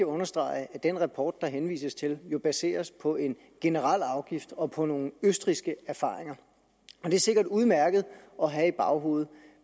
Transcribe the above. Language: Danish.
understrege at den rapport der henvises til jo baseres på en generel afgift og på nogle østrigske erfaringer det er sikkert udmærket at have i baghovedet